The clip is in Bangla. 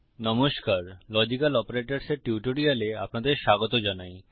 নমস্কার লজিক্যাল অপারেটরস এর টিউটোরিয়ালে আপনাদের স্বাগত জানাই